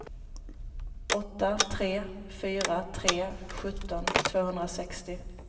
åtta tre fyra tre sjutton tvåhundrasextio